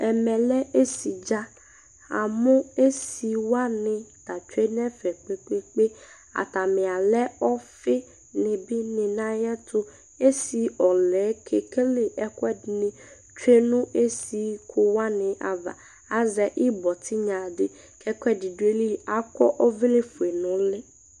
Ɛmɛ lɛ esɩ ɖza Amu esɩ wanɩ ta tsoe nɛfɛ kpe kpe kpe Atanɩ alɛ ɔfɩnɩ bɩ nɩ nayɛru Esɩ ɔlɛ keke le ɛkuɛ ɖɩnɩ tsoe nu esɩku wanɩ ava Azɛ ɩɓɔ tɩnyaɖɩ kɛkuɛɖɩ ɖu ayɩlɩ Akɔ ɔvlɛ foe nuliɩ